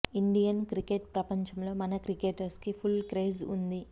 Indian cricket ప్రపంచంలో మన cricketers కి ఫుల్ క్రేజ్ వుంది